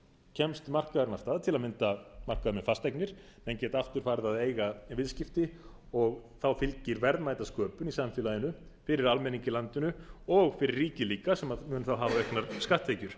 kemst markaðurinn af stað til að mynda markaður með fasteignir menn geta aftur farið að eiga viðskipti og þá fylgir verðmætasköpun í samfélaginu fyrir almenning í landinu og fyrir ríkið líka sem mun þá hafa auknar skatttekjur